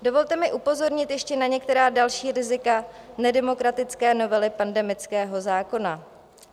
Dovolte mi upozornit ještě na některá další rizika nedemokratické novely pandemického zákona.